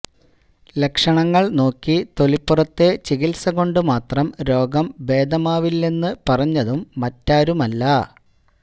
ലക്ഷണങ്ങൾ നോക്കി തൊലിപ്പുറത്തെ ചികിത്സകൊണ്ടു മാത്രം രോഗം ഭേദമാവില്ലെന്നു പറഞ്ഞതും മറ്റാരുമല്ല